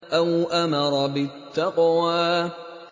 أَوْ أَمَرَ بِالتَّقْوَىٰ